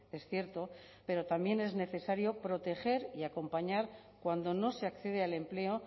es cierto pero también es necesario proteger y acompañar cuando no se accede al empleo